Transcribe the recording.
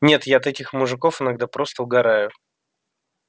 нет я от этих мужиков иногда просто угораю